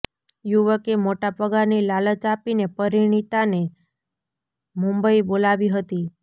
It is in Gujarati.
યુવકે મોટા પગારની લાલચ આપીને પરિણીતાને મુંબઈ બોલાવી હતી